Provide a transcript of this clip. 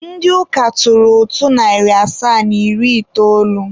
Ndị ụka tụrụ ụtụ narị asaa na iri itoolu.